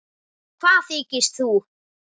Hvað þykist þú.